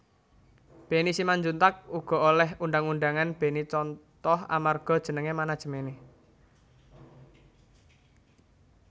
Benny Simanjuntak uga oleh undhang undhangan Benny Contoh amarga jeneng manajemené